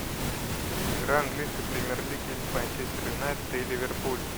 игра английской премьер лиги манчестер юнайтед и ливерпуль